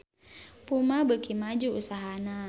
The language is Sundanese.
Puma beuki maju usahana